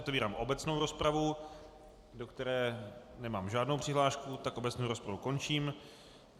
Otevírám obecnou rozpravu, do které nemám žádnou přihlášku, tak obecnou rozpravu končím.